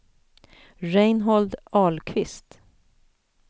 Reinhold Ahlqvist